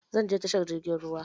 Zan je tashar jirgin ruwa.